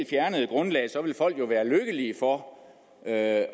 fjernede grundlaget ville folk være lykkelige for at